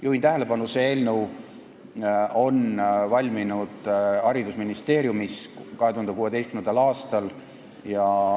Juhin tähelepanu, et see eelnõu valmis haridusministeeriumis 2016. aastal.